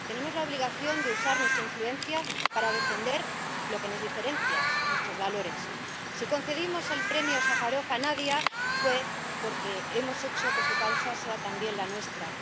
Tenemos la obligación de usar nuestra influencia para defender lo que nos diferencia nuestros valores. Si concedimos el Premio Sájarov a Nadia fue porque hemos hecho que su causa sea también la nuestra.